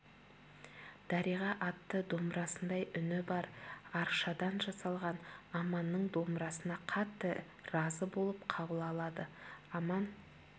дариға атты домбырасындай үні бар аршадан жасалған аманның домбырасына қатты разы болып қабыл алады аман